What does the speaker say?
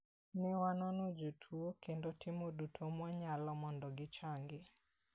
Ne wanono jotuo kendo timo duto mwanyalo mondo gichangi.